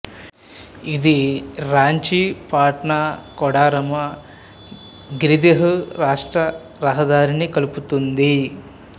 ఇది రాంచీ పాట్నా కోడర్మా గిరిదిహ్ రాష్ట్ర రహదారిని కలుపుతుంది